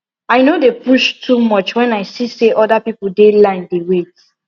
i no dey push too much when i see say other people dey line dey wait